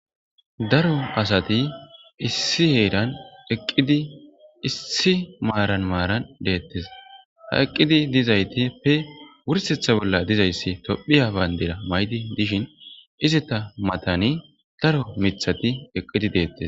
daro asati issi heedan eqqidi issi maaran maaran deettes ha eqqidi dizayti pe wursetha bolla dizayssi tophiya baandira maydi dishin izita matani daro mithati eqqidi deettes